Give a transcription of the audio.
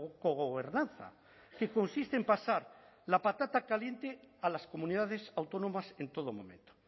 cogobernanza que consiste en pasar la patata caliente a las comunidades autónomas en todo momento